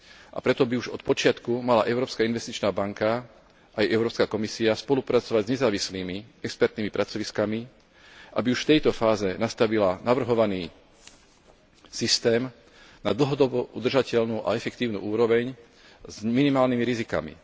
A preto by už od počiatku mala Európska investičná banka aj Európska komisia spolupracovať s nezávislými expertnými pracoviskami, aby už v tejto fáze nastavila navrhovaný systém na dlhodobo udržateľnú a efektívnu úroveň s minimálnymi rizikami.